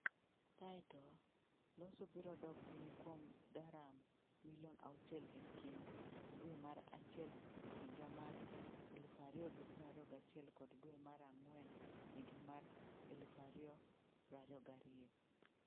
Kae to, loso birodok piny kuom daram milion auchiel e kind dwe mar achiel higa mar 2021 kod dwe mar ang'wen higa mar2022,